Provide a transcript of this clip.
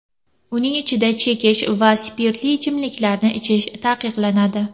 Uning ichida chekish va spirtli ichimliklarni ichish taqiqlanadi.